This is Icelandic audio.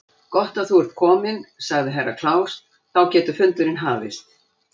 Gott að þú ert kominn, sagði Herra Kláus, þá getur fundurinn hafist.